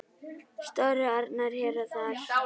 Stóru árnar hér og þar.